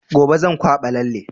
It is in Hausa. Gobe zan kwaɓa lallen